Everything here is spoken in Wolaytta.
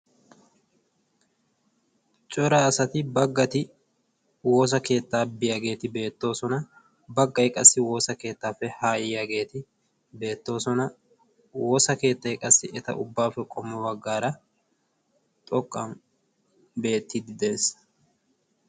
cora asati baggati woosa keettaa biyaageeti beettoosona baggai qassi woosa keettaappe haayyiyaageeti beettoosona woosa keettay qassi eta ubbaappe qommo baggaara xoqqan beettiidi de'ees